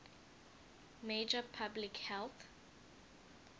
major public health